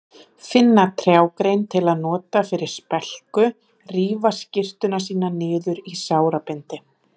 Finna trjágrein til að nota fyrir spelku, rífa skyrtuna sína niður í sárabindi.